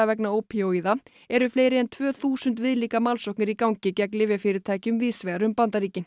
vegna ópíóíða eru fleiri en tvö þúsund viðlíka málsóknir í gangi gegn lyfjafyrirtækjum víðsvegar um Bandaríkin